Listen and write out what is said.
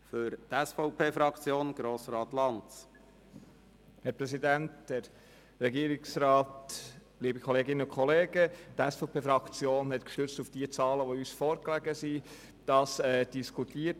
Die SVP-Fraktion hat den Antrag gestützt auf die Zahlen, die uns vorlagen, diskutiert.